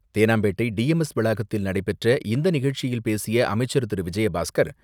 Teynampet T M S வளாகத்தில் நடைபெற்ற இந்த நிகழ்ச்சியில் பேசிய அமைச்சர் திரு.விஜயபாஸ்கர்,